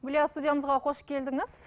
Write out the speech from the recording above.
гүлия студиямызға қош келдіңіз